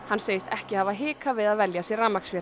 hann segist ekki hafa hikað við að velja sér